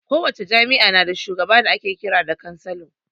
Kowace jami'a na da shugaba da ake kiran da cansalo